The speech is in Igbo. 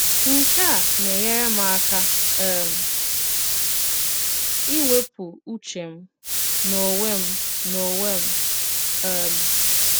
Nke à na-enyèrè m àka um ìwèpụ ùchè m n'ònwè m n'ònwè m. um